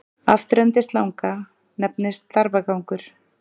Afturendi slanga nefnist þarfagangur.